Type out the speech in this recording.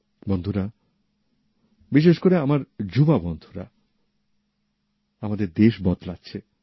বন্ধুরা বিশেষ করে আমার যুবসম্প্রদায়ের বন্ধুরা আমাদের দেশ বদলাচ্ছে